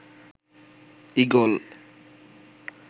eagle